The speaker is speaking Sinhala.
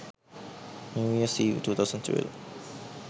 new years eve 2012